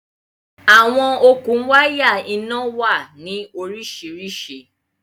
Awọn okun wàya iná wà ní oríṣiríṣí